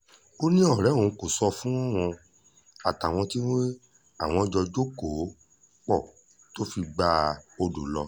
ó ní ọ̀rẹ́ òun kò sọ fóun àtàwọn tí àwọn jọ jókòó pọ̀ tó fi gba odò lọ